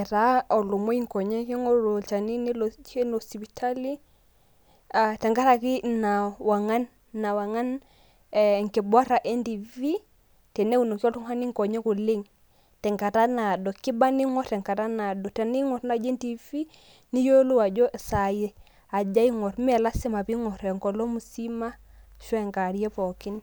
etaa kitanyamal inkonyek nelo sipitali. tenkaraki ina wang'an enkibora entiifii, teneunoki oltungani nkonyek oleng. tenkata naado. kiba ning'or tenkata naado. tening'or naaji entiifi niyilou ajo saai aja ing'or ime lasima pee ing'or enkolong musima shu enkarie pookin.